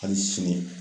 Hali sini